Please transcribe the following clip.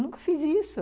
Nunca fiz isso.